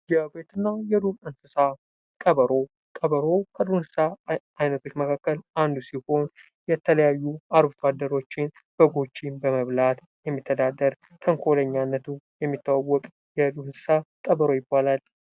የቤትና የዱር እንስሳ ቀበሮ ፡-ቀበሮ ከዱር እንስሳ ዓይነቶች መካከል አንዱ ሲሆን የተለያዩ አርብቶ አደሮችን በጎችን በመብላት የሚተዳደር በተንኰለኛነቱ የሚታወቅ የዱር እንስሳት ቀበሮ ይባላል።